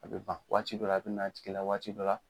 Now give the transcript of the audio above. A bɛ ban waati dɔ la a bɛ na a tigi la waati dɔ la